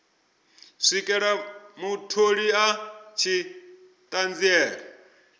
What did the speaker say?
swikela mutholi a tshi ṱanziela